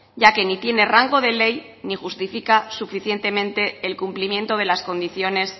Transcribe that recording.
ya que ni tiene rango de ley ni justifica suficientemente el cumplimiento de las condiciones